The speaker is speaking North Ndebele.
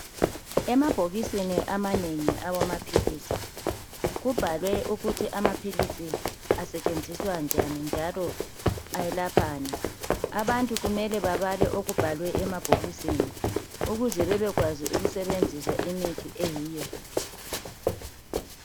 Emabhokisini amanengi awamaphilisi, kubhalwe ukuthi amaphilisi asetshenziswa njani njalo ayelaphani. Abantu kumele babale okubhalwe emabhokisini ukuze bebekwazi ukusebenzisa imithi eyiyo.